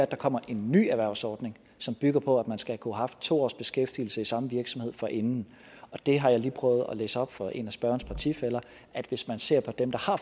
der kommer en ny erhvervsordning som bygger på at man skal kunne have haft to års beskæftigelse i samme virksomhed forinden der har jeg lige prøvet at læse op for en af spørgerens partifæller at hvis man ser på dem der har